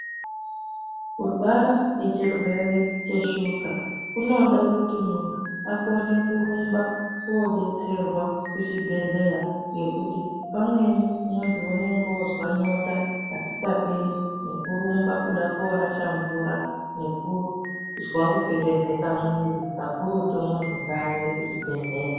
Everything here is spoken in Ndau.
Kurwara ngechirwere cheshuga kunoda kuti muntu akone kurumba koodetserwa kuchibhedhleya. Ngekuti pamweni muntu unenge oozwa nyota kasikaperi nekurumba kuda koorasha mvura nekuzwa kuperezeka mwiiri, kakurutu muntu ngaaende kuchibhedhlera.